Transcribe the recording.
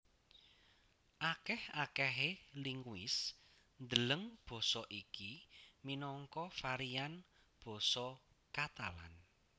Akèh akèhé linguis ndeleng basa iki minangka varian basa Katalan